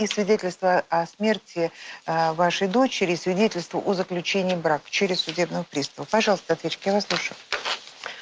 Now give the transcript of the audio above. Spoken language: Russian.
и свидетельство о смерти вашей дочери свидетельство о заключении брака через судебных приставов пожалуйста ответчик я вас слушаю